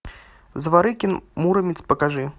зворыкин муромец покажи